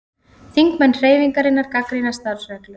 Þingmenn Hreyfingarinnar gagnrýna starfsreglur